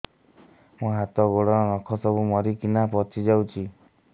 ମୋ ହାତ ଗୋଡର ନଖ ସବୁ ମରିକିନା ପଚି ଯାଉଛି